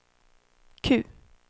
Q